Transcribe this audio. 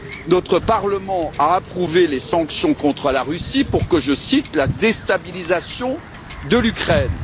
Notre Parlement a approuvé les sanctions contre la Russie pour je cite la déstabilisation de l'Ukraine.